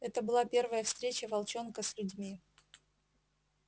это была первая встреча волчонка с людьми